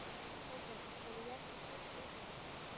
Þorbjörn: Eru jákvæð teikn á lofti heldurðu?